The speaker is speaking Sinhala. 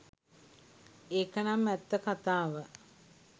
ඒකනම් ඇත්ත කතාව